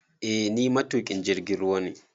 Eh ni matuƙin jirgin ruwa ne